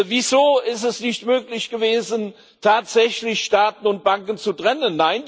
Wieso ist es nicht möglich gewesen, tatsächlich Staaten und Banken zu trennen?